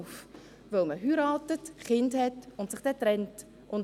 Weil man heiratet, Kinder hat und sich dann trennt.